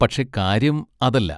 പക്ഷെ കാര്യം അതല്ല.